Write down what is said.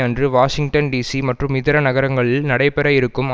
அன்று Washington DC மற்றும் இதர நகரங்களில் நடைபெற இருக்கும்